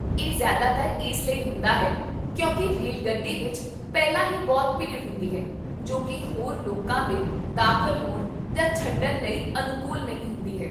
ਇਹ ਜਿਆਦਾਤਰ ਇਸ ਲਈ ਹੁੰਦਾ ਹੈ ਕਿਉਂਕਿ ਰੇਲਗੱਡੀ ਵਿੱਚ ਪਹਿਲਾਂ ਹੀ ਬਹੁਤ ਭੀੜ ਹੁੰਦੀ ਹੈ ਜੋ ਕਿ ਹੋਰ ਲੋਕਾਂ ਦੇ ਦਾਖਲ ਹੋਣ ਜਾਂ ਛੱਡਣ ਲਈ ਅਨੁਕੂਲ ਨਹੀਂ ਹੁੰਦੀ ਹੈ